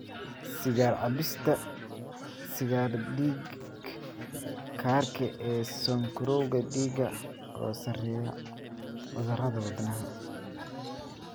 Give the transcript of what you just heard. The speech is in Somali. Sigaar cabista sigaarka dhiig-karka ee sonkorowga dhiigga oo sarreeya cudurrada wadnaha.